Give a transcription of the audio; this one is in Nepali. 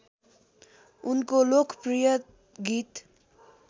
उनको लोकप्रिय गीत